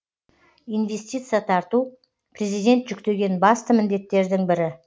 инвестиция тарту президент жүктеген басты міндеттердің бірі